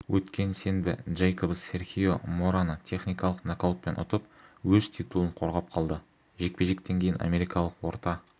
өткен сенбі джейкобс серхио мораны техникалық нокаутпен ұтып өз титулын қорғап қалды жекпе-жектен кейін америкалық орта